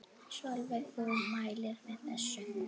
Sólveig: Þú mælir með þessu?